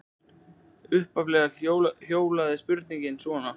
Upphaflega hljóðaði spurningin svona: